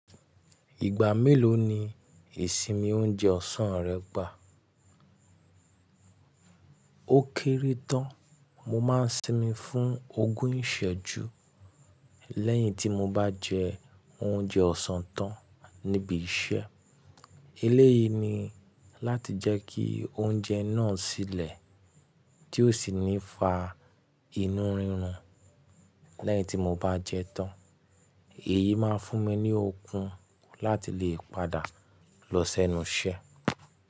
Ìgbà mélòó ni ìsinmi oúnjẹ ọ̀sán rẹ gbà? Ó kéré tán, mo máa ń sinmi fún ogún ìsẹ́jú lẹ́yìn tí mo bá jẹ oúnjẹ ọ̀sán tán níbi iṣẹ́. Eléyìí ni láti jẹ́ kí oúnjẹ náà sílẹ̀ tí ó sì ní fa inú rírun lẹ́yìn tí mo bá jẹ tán. Èyí máa ń fún mi ní okun láti lè padà lọ sẹ́nu iṣẹ́